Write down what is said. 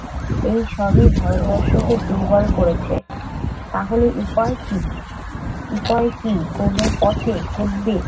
এই সবই ভারতবর্ষকে দুর্বল করেছে তাহলে উপায় কি? উপায় কি? কোন পথে ঘটবে